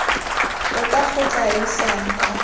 tota go tla isang kwa